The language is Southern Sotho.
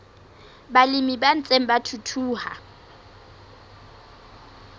balemi ba ntseng ba thuthuha